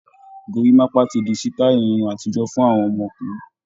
Gorímápá ti di sítáì irun àtijọ́ fún àwọn ọkùnrin.